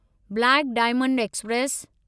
black diamond express